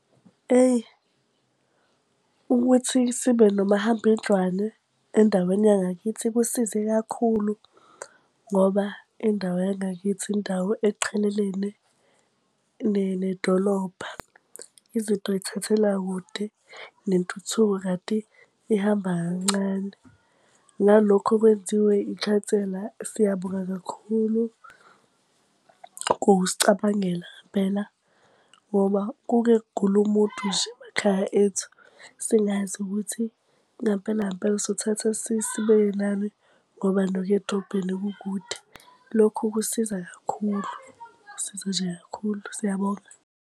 Eyi ukuthi sibe nomahambendlwane endaweni yangakithi kusize kakhulu, ngoba indawo yangakithi indawo eqhelelene nedolobha. Izinto zithathela kude nentuthuko kanti ihamba kancane. Nalokho okwenziwe ikhansela siyabonga kakhulu, ukusicabangela ngempela. Ngoba kuke kugule umuntu nje emakhaya ethu singazi ukuthi ngampela ngampela sothatha sibeke nani, ngoba nokuya edrobheni kukude. Lokhu kusiza kakhulu, kusiza nje kakhulu. Siyabonga.